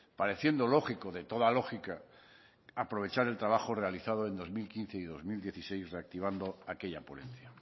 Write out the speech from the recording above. pareciendo lógico de toda lógica aprovechar el trabajo realizado en dos mil quince y dos mil dieciséis reactivando aquella ponencia